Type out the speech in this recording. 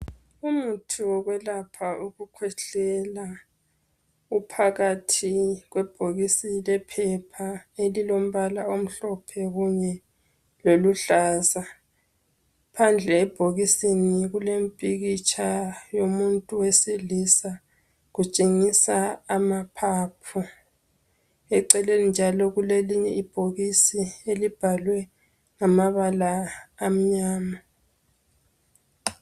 Umuthi wokwelapha ukukhwehlela uphakathi kwebhokisi lephepha elilombala omhlophe kunye loluhlaza phandle ebhokisini kulempikitsha yomuntu wesilisa kutshengisa amaphaphu eceleni njalo kulelinye ibhokisi elibhalwe ngamabala amnyama